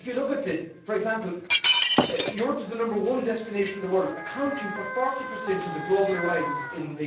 But if you look at it, you see, for example, that Europe is the number one destination in the world, accounting for 40 of global arrivals in